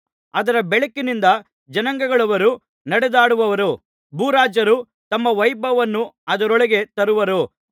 ಅದರ ಬೆಳಕಿನಿಂದ ಜನಾಂಗಗಳವರು ನಡೆದಾಡುವರು ಭೂರಾಜರು ತಮ್ಮ ವೈಭವವನ್ನು ಅದರೊಳಗೆ ತರುವರು